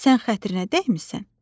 Sən xətrinə dəymisən.